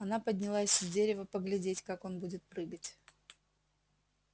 она поднялась с дерева поглядеть как он будет прыгать